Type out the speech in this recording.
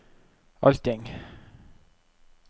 allting